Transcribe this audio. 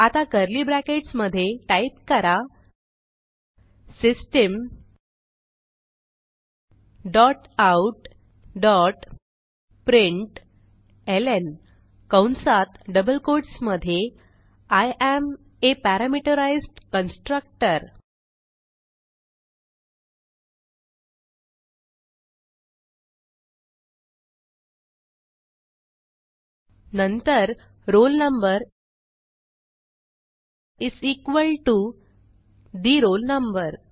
आता curly brackets मधे type करा system dot out dot println कंसात डबल कोट्स मधे I am a parameterized constructor नंतर roll number is equal to the roll number